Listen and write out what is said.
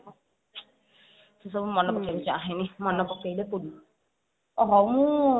ସେସବୁ ମନେ ପକେଇବାକୁ ଚାହେଁନି ମାନେ ପକେଇଲେ ଓ ହଉ ମୁଁ